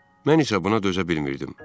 Mən isə buna dözə bilmirdim.